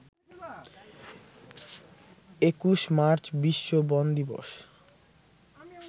২১ March বিশ্ব বন দিবস